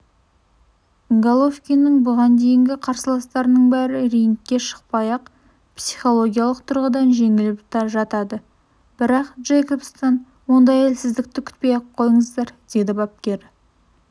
головкиннің бұған дейінгі қарсыластарының бәрі рингке шықпай-ақ психологиялық тұрғыдан жеңіліп жатады бірақ джейкобстан ондай әлсіздікті күтпей-ақ қойыңыздар деді бапкері